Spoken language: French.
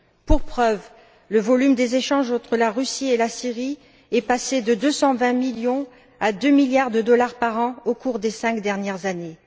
Pour preuve, le volume des échanges entre la Russie et la Syrie est passé de 220 millions à 2 milliards de dollars par an au cours des cinq dernières années.